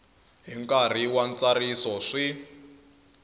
hi nkarhi wa ntsariso swi